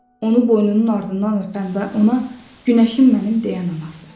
Onu boynunun ardından öpən və ona günəşim mənim deyən anası.